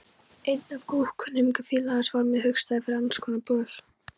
Einn af góðkunningjum fiðlarans varð mér hugstæður fyrir annarskonar böl.